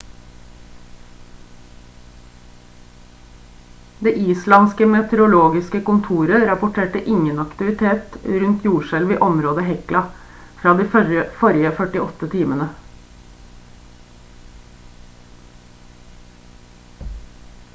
det islandske meteorologiske kontoret rapporterte ingen aktivitet rundt jordskjelv i området hekla fra de forrige 48 timene